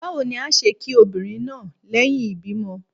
Bawo ni a ṣe ki obinrin naa lẹhin ibimọ